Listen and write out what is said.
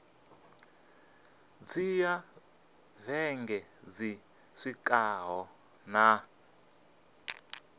dzhia vhege dzi swikaho nṋa